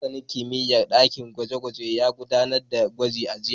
Masanin kimiyyar ɗakin gwaje-gwaje ya gudanar da gwajin a jiya.